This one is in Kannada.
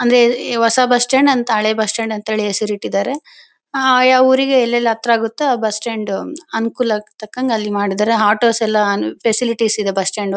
ಅಂದ್ರೆ ಹೊಸಸ್ ಬಸ್ಸ್ಟ್ಯಾಂಡ್ ಹಳೆ ಬಸ್ಸ್ಟ್ಯಾಂಡ್ ಅಂತ ಹೆಸರಿಟ್ಟಿದ್ದಾರೆ ಯಾವ್ಯಾವ್ ಊರಿಗೆ ಎಲ್ಲೆಲ್ಲಿ ಹತ್ರ ಆಗುತ್ತೋ ಬಸ್ಸ್ಟ್ಯಾಂಡ್ ಅನುಕೂಲಕ್ಕೆ ತಕ್ಕಂತೆ ಅಲ್ಲಿ ಮಾಡಿದ್ದಾರೆ ಆಟೋಸ್ ಎಲ್ಲ ಫ್ಯಾಸಿಲಿಟೀಸ್ ಇದೆ ಬಸ್ಟ್ಯಾಂಡ್ ಲಿ .